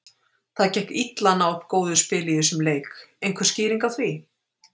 Það gekk illa að ná upp góðu spili í þessum leik, einhver skýring á því?